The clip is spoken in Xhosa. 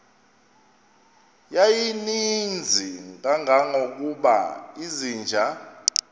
yayininzi kangangokuba izinja